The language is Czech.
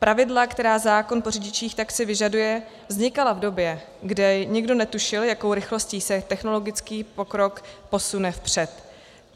Pravidla, která zákon po řidičích taxi vyžaduje, vznikala v době, kdy nikdo netušil, jakou rychlostí se technologický pokrok posune vpřed.